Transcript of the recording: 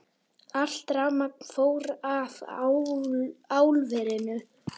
Allt rafmagn fór af álverinu